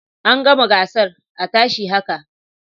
An gama gasar a tashi haka